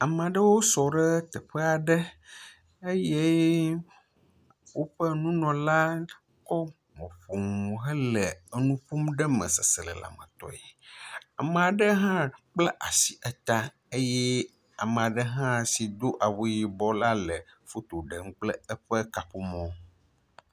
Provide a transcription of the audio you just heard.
Ame aɖewo sɔ ɖe teƒe aɖe eye woƒe nunɔla kɔ mɔƒonu hele enu ƒomm ɖe eme seselelame tɔe. ame aɖe hã kpla asi eta eye ame aɖe hã si do awu yibɔ la el foto ɖem kple eƒe kaƒomɔ.